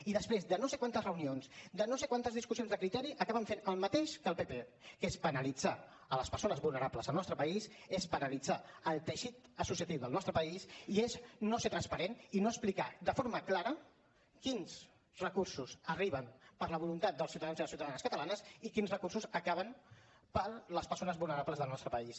i després de no sé quantes reunions de no sé quantes discussions de criteri acaben fent el mateix que el pp que és penalitzar les persones vulnerables del nostre país és penalitzar el teixit associatiu del nostre país i és no ser transparent i no explicar de forma clara quins recursos arriben per la voluntat dels ciutadans i les ciutadanes catalans i quins recursos s’acaben per a les persones vulnerables del nostre país